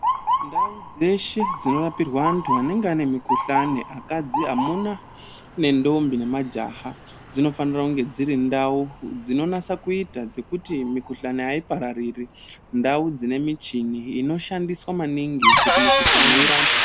Ndau dzeshe dzinorapirwa antu anenge ane mukuhlani, akadzi, amuna, nendombi nemajaha, dzinofanira kunge dziri ndau dzinonasa kuita dzekuti mikuhlani haipararire . Ndau dzine michini inoshandiswa maningi kuti mikuhlani irapwe.